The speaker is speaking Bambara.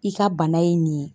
I ka bana ye nin ye.